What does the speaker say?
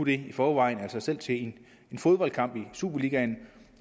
det i forvejen altså selv til en fodboldkamp i superligaen